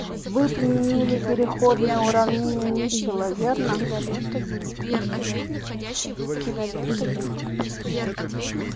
вы применили переходное уравнение митчелла верно